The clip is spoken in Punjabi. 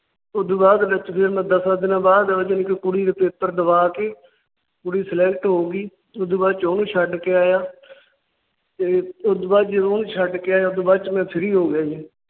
ਉਸ ਤੋਂ ਬਾਅਦ ਵਿੱਚ ਮੈਂ ਦੱਸਾਂ ਦਿਨਾਂ ਬਾਅਦ ਜਦੋ ਕੁੜੀ ਦੇ Paper ਦਵਾ ਕੇ ਕੁੜੀ Select ਹੋ ਗਈ। ਉਸ ਦੇ ਬਾਅਦ ਚ ਉਹਨੂੰ ਛੱਡ ਕੇ ਆਇਆ। ਤੇ ਉਸ ਤੋਂ ਬਾਅਦ ਚ ਮੈ ਉਹਨੂੰ ਛੱਡ ਕੇ ਆਇਆ ਉਸ ਤੋਂ ਬਾਅਦ ਚ ਮੈ Free ਹੋ ਗਿਆ ਸੀ।